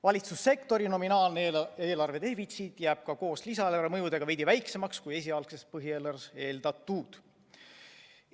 Valitsussektori nominaalne eelarvedefitsiit jääb ka koos lisaeelarve mõjudega veidi väiksemaks, kui esialgses põhieelarves eeldatud.